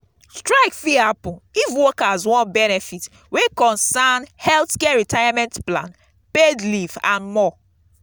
strike fit happen if workers want benefits wey concern healthcare retirement plan paid leave and more